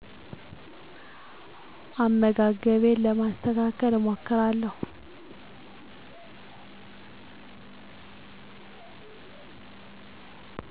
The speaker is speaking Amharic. አመጋገቤን ለማስተካከል እሞክራለሁ